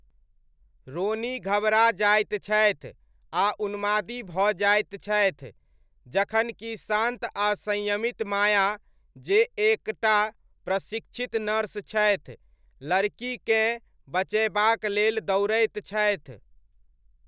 रोनी घबरा जाइत छथि आ उन्मादी भऽ जाइत छथि, जखन कि शान्त आ संयमित माया, जे एक टा प्रशिक्षित नर्स छथि, लड़कीकेँ बचयबाक लेल दौड़ैत छथि।